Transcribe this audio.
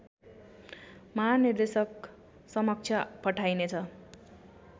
महानिर्देशक समक्ष पठाइने छ